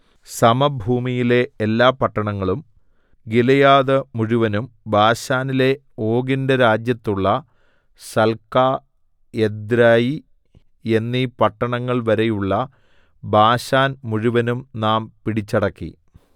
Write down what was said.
സമഭൂമിയിലെ എല്ലാ പട്ടണങ്ങളും ഗിലെയാദ് മുഴുവനും ബാശാനിലെ ഓഗിന്റെ രാജ്യത്തുള്ള സൽക്കാ എദ്രെയി എന്നീ പട്ടണങ്ങൾവരെയുള്ള ബാശാൻ മുഴുവനും നാം പിടിച്ചടക്കി